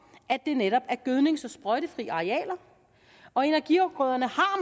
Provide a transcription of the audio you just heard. at det netop er gødnings og sprøjtefri arealer og energiafgrøderne har